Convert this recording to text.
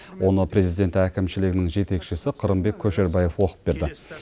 оны президент әкімшілігінің жетекшісі қырымбек көшербаев оқып берді